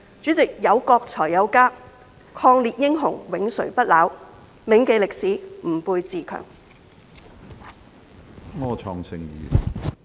主席，有國才有家，抗日英雄永垂不朽，銘記歷史，吾輩自強。